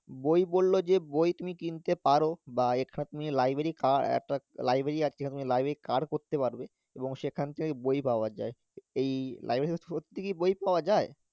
বই বললো যে বই তুমি কিনতে পারো, বা একটা তুমি library কা~ একটা library library card করতে পারবে এবং সেখান থেকে বই পাওয়া যায়, এই library সত্যি কি বই পাওয়া যায়?